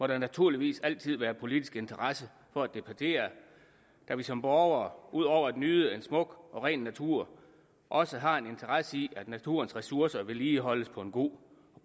der naturligvis altid være politisk interesse for at debattere da vi som borgere ud over at nyde en smuk og ren natur også har en interesse i at naturens ressourcer vedligeholdes på en god